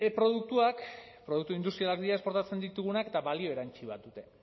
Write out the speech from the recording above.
produktuak produktu industriak dira esportatzen ditugunak eta balio erantsi bat dute